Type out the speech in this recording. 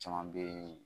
Caman bɛ yen